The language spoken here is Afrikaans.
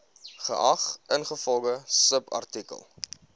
geag ingevolge subartikel